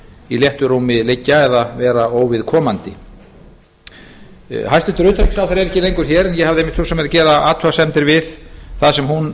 í léttu rúmi liggja eða vera óviðkomandi hæstvirts utanríkisráðherra er ekki lengur hér en ég hafði einmitt hugsað mér að gera athugasemdir við það sem hún